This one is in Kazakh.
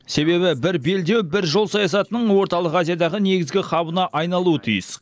себебі бір белдеу бір жол саясатының орталық азиядағы негізгі хабына айналуы тиіс